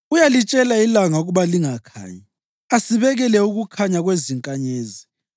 Uyalitshela ilanga ukuba lingakhanyi; asibekele ukukhanya kwezinkanyezi.